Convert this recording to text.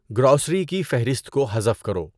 grocery کی فہرست کو حذف کرو